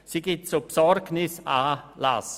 Sie gibt zu Besorgnis Anlass.